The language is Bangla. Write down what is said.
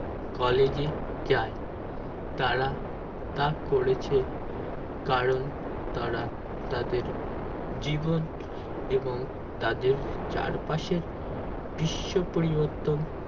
college এ যাই তারা তা করেছে কারণ তারা তাদের জীবন এবং তাদের চারপাশের বিশ্ব পরিবর্তন